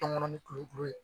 Tɔmɔnɔ ni kuru kuru ye